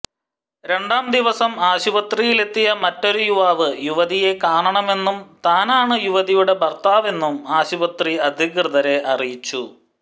രണ്ടാം ദിവസം ആശുപത്രിയിലെത്തിയ മറ്റൊരു യുവാവ് യുവതിയെ കാണണമെന്നും താനാണ് യുവതിയുടെ ഭര്ത്താവെന്നും ആശുപത്രി അധികൃതരെ അറിയിച്ചു